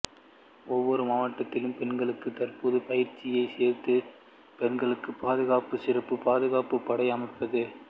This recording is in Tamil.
ஒவ்வொரு மாவட்டத்திலும் பெண்களுக்கு தற்காப்புப் பயிற்சியைச் சேர்ப்பது பெண்கள் பாதுகாப்புக்கு சிறப்பு பாதுகாப்பு படை அமைப்பது